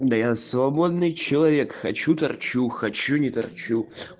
да я свободный человек хочу торчу хочу не торчу